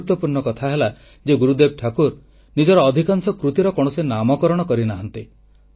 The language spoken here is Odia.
ଗୁରୁତ୍ୱପୂର୍ଣ୍ଣ କଥା ହେଲା ଯେ ଗୁରୁଦେବ ଠାକୁର ନିଜର ଅଧିକାଂଶ କୃତିର କୌଣସି ନାମକରଣ କରି ନାହାନ୍ତି